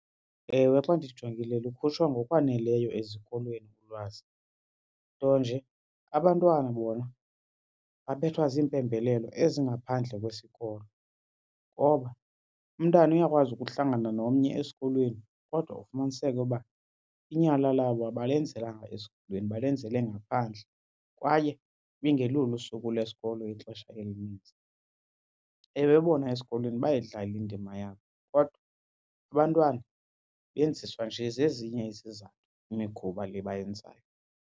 Ewe, xa ndijongile lukhutshwa ngokwaneleyo ezikolweni ulwazi, nto nje abantwana bona babethwa ziimpembelelo ezingaphandle kwesikolo. Ngoba umntana uyakwazi ukuhlangana nomnye esikolweni kodwa ufumaniseke uba inyala labo abalenzelanga esikolweni balenzele ngaphandle kwaye ibingelulo usuku lesikolo ixesha elinintsi. Ewe, bona esikolweni bayayidlala indima yabo kodwa abantwana benziswa nje zezinye izizathu imikhuba le bayenzayo.